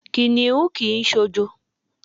Kìnìún kì í s̩òjo.